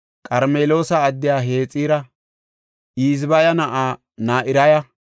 Qarmeloosa addiya Hexira, Ezbaya na7aa Na7iraya,